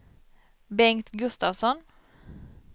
Bengt Gustafsson